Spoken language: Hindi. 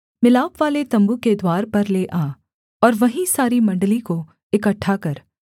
मिलापवाले तम्बू के द्वार पर ले आ और वहीं सारी मण्डली को इकट्ठा कर